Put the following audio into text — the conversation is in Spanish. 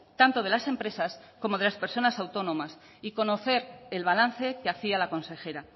tanto de las empresas como de las personas autónomas y conocer el balance que hacía la consejera